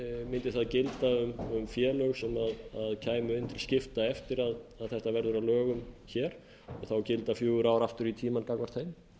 mundi það gilda um félög sem kæmu inn til skipta eftir að þetta verður að lögum þá gilda fjögur ár aftur í tímann gagnvart þeim